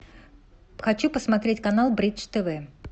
хочу посмотреть канал бридж тв